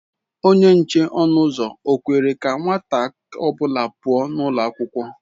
Onye nche ọnụ ụzọ ọ kwere ka nwata ọ bụla pụọ ​​n'ụlọ akwụkwọ?